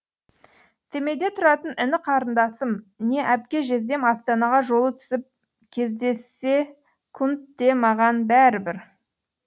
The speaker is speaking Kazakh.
семейде тұратын іні қарындасым не әпке жездем астанаға жолы түсіп кездессекте маған бәрібір